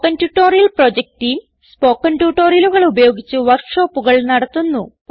spoken tutorial project team spoken ട്യൂട്ടോറിയലുകൾ ഉപയോഗിച്ച് വർക്ക് ഷോപ്പുകൾ നടത്തുന്നു